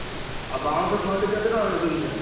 ଆଉ ବାଉଁଶ ଫଣ୍ଡି କେତେ ଟଙ୍କା ନଉଛନ୍ତି ସେଠି?